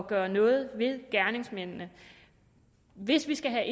gøre noget ved det gerningsmændene hvis vi skal